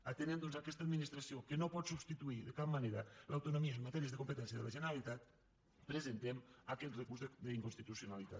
atenent doncs aquesta administració que no pot substituir de cap manera l’autonomia en matèries de competència de la generalitat presentem aquest recurs d’inconstitucionalitat